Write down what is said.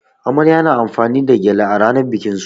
Amarya na amfani da gyale a rannan bikin su.